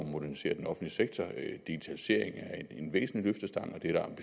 modernisere den offentlige sektor digitalisering er en væsentlig løftestang